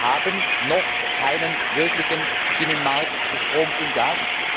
Wir haben noch keinen wirklichen Binnenmarkt für Strom und Gas.